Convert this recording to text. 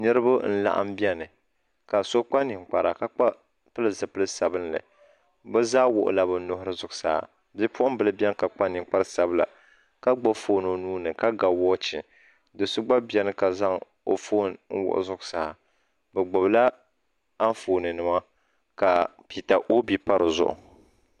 Niriba n laɣim biɛni ka so.kpa ninkpara ka pili zipil'sabinli bɛ zaa wuɣi la bɛ nuhiri zuɣusaa ka bipuɣimbila biɛni ka kpa ninkpari sabila ka gbibi fooni o nuuni ka ga woochi do'so gba biɛni ka zaŋ o fooni n wuɣi zuɣusaa bɛ gbibila Anfooni nima ka pita obi pa dizuɣu.